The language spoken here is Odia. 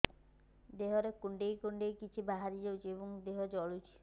ଦେହରେ କୁଣ୍ଡେଇ କୁଣ୍ଡେଇ କିଛି ବାହାରି ଯାଉଛି ଏବଂ ଦେହ ଜଳୁଛି